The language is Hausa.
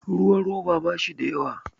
ruwan roba ba shi da yawa